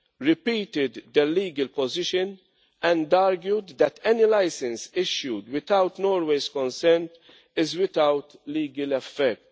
repeated their legal position, and argued that any license issued without Norway's consent is without legal effect.